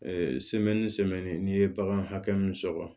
n'i ye bagan hakɛ min sɔrɔ